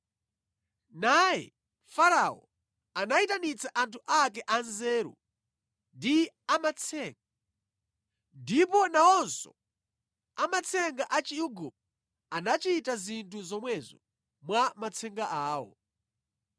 Naye Farao anayitanitsa anthu ake anzeru ndi amatsenga, ndipo nawonso amatsenga a Chiigupto anachita zinthu zomwezo mwa matsenga awo.